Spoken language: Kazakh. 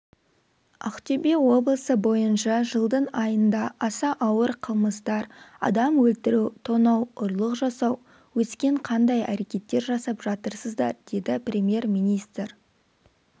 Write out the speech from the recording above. ақтөбе облысы бойынша жылдың айында аса ауыр қылмыстар адам өлтіру тонау ұрлық жасау өскен қандай әрекеттер жасап жатырсыздар деді премьер-министр